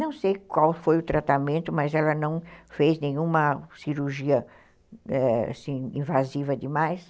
Não sei qual foi o tratamento, mas ela não fez nenhuma cirurgia, é, assim, invasiva demais.